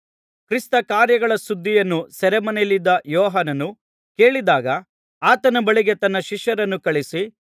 ಕ್ರಿಸ್ತನ ಕಾರ್ಯಗಳ ಸುದ್ದಿಯನ್ನು ಸೆರೆಮನೆಯಲ್ಲಿದ್ದ ಯೋಹಾನನು ಕೇಳಿದಾಗ ಆತನ ಬಳಿಗೆ ತನ್ನ ಶಿಷ್ಯರನ್ನು ಕಳುಹಿಸಿ